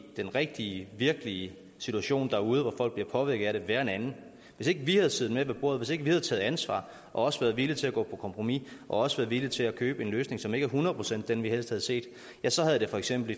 den rigtige virkelige situation derude hvor folk bliver påvirket af det være en anden hvis ikke vi havde siddet med ved bordet hvis ikke vi havde taget ansvar og også været villige til at gå på kompromis og også været villige til at købe en løsning som ikke hundrede procent er den vi helst havde set ja så havde det for eksempel